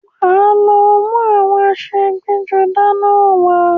Wá lọ mú àwọn aṣọ ẹgbẹ́-jọdá náà wá.